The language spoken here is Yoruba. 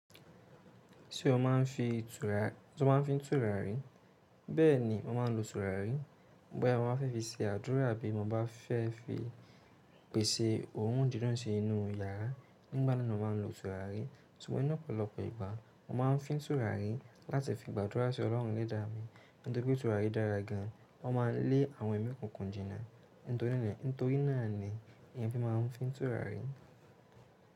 Ṣé o máa ń fi tùràrí? Bẹ́ẹ̀ni, mo máa ń lo tùràrí. Bo yà, mo máa fẹ́ fi se àdúrà bí mo bá fẹ́ fi pèsè ohùn dídùn sí inú yàrá. Nígbà náà ni mo máa ń lo tùràrí. Túnwó inú ọ̀pọ̀lọpọ̀ ìgbà, mo máa ń fín tùràrí láti fi gbàdúrà sí ọlọ́run ẹlẹ́dàá mi. Nítorí pé tùràrí dára gan, wọ́n máa ń lé àwọn ẹmí òkùnkùn jìnà. Nítorí náà ni ìyẹn fi máa ń fín tùràrí.